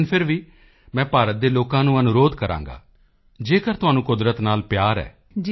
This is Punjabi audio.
ਲੇਕਿਨ ਫਿਰ ਵੀ ਮੈਂ ਭਾਰਤ ਦੇ ਲੋਕਾਂ ਨੂੰ ਅਨੁਰੋਧ ਕਰਾਂਗਾ ਜੇਕਰ ਤੁਹਾਨੂੰ ਕੁਦਰਤ ਨਾਲ ਪਿਆਰ ਹੈ